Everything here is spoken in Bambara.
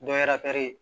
Dɔ yera pɛrɛn